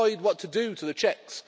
You decide what to do to the Czechs.